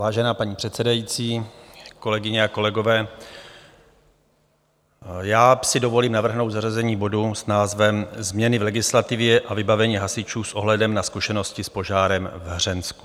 Vážená paní předsedající, kolegyně a kolegové, já si dovolím navrhnout zařazení bodu s názvem Změny v legislativě a vybavení hasičů s ohledem na zkušenosti s požárem v Hřensku.